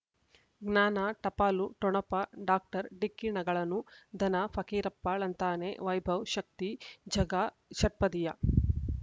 ಜ್ಞಾನ ಟಪಾಲು ಠೊಣಪ ಡಾಕ್ಟರ್ ಢಿಕ್ಕಿ ಣಗಳನು ಧನ ಫಕೀರಪ್ಪ ಳಂತಾನೆ ವೈಭವ್ ಶಕ್ತಿ ಝಗಾ ಷಟ್ಪದಿಯ